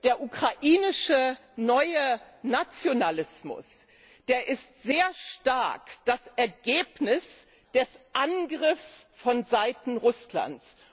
Der ukrainische neue Nationalismus ist sehr stark das Ergebnis des Angriffs vonseiten Russlands.